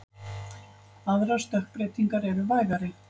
Aðrar stökkbreytingar eru vægari.